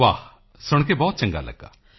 ਵਾਹ ਸੁਣ ਕੇ ਬਹੁਤ ਚੰਗਾ ਲਗਿਆ